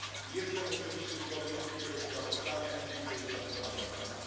Jestem oczywiście zwolennikiem tego sprawozdania i dziękuję za wykonaną pracę.